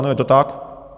Ano, je to tak.